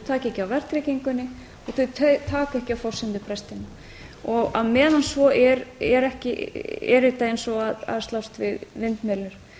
taka ekki á verðtryggingunni og þau taka ekki á forsendubrestinum á meðan svo er er þetta eins og að slást við vindmyllur